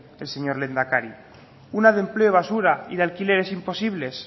el señor lehendakari una de empleo basura y de alquileres imposibles